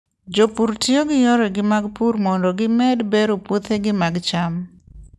Jopur tiyo gi yore mag pur mondo gimed bero puothegi mag cham.